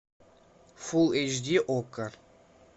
фулл эйч ди окко